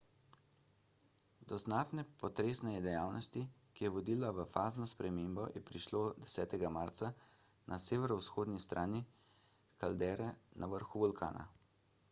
do znatne potresne dejavnosti ki je vodila v fazno spremembo je prišlo 10 marca na severovzhodni strani kaldere na vrhu vulkana